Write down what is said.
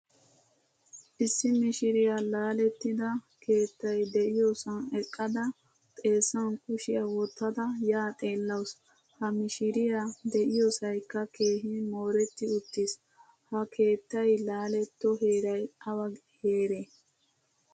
Issi mishiriyaa laalettida keettay deiyosan eqqada xeesan kushiyaa wottada yaa xeelawusu. Ha mishshiriyaa de'iyosaykka keehin mooretti uttiis. Ha keettay laaletto heeray awa heere?